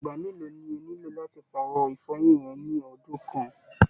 Ìgbà mélòó ní o nílò làti paarọ ifọyin rẹ ni ọdun kan?